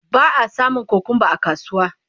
ba a samun kukumba a kasuwa